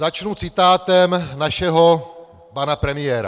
Začnu citátem našeho pana premiéra.